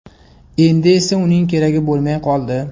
Endi esa uning keragi bo‘lmay qoldi.